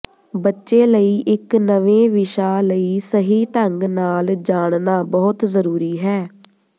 ਬੱਚੇ ਲਈ ਇਕ ਨਵੇਂ ਵਿਸ਼ਾ ਲਈ ਸਹੀ ਢੰਗ ਨਾਲ ਜਾਣਨਾ ਬਹੁਤ ਜ਼ਰੂਰੀ ਹੈ